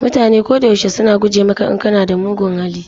Mutane ko da yaushe suna guje maka in kana da mugun hali.